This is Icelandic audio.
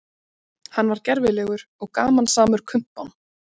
Hann var gervilegur og gamansamur kumpán.